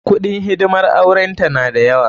Kuɗin hidimar auren ta na da yawa.